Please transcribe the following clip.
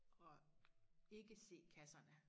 At ikke se kasserne